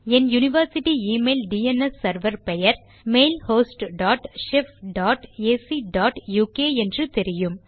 என் university email DNS server பெயர் mailhost dot shef dot AC dot uk என்று தெரியும்